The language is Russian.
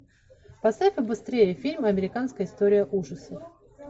поставь побыстрее фильм американская история ужасов